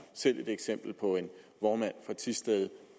selv et eksempel på en vognmand fra thisted